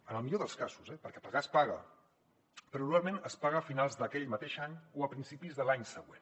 en el millor dels casos eh perquè pagar es paga però normalment es paga a finals d’aquell mateix any o a principis de l’any següent